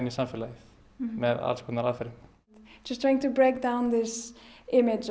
samfélagið með alls konar aðferðum í